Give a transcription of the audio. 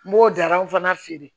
N b'o darɔw fana feere